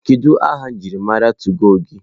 Kedu aha njirimara tụgo gị?